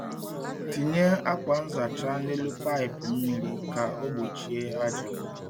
Tinye akwa nzacha n’elu paịpụ mmiri ka ọ gbochie aja.